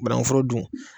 Banankuforo dun